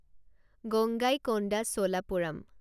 Gangaikonda Cholapuram